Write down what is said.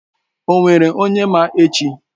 O nwere onye ma echi?